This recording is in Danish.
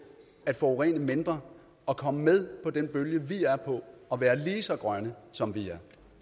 at forurene mindre og komme med på den bølge vi er på og være lige så grønne som vi